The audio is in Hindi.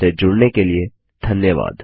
हमसे जुड़ने के लिए धन्यवाद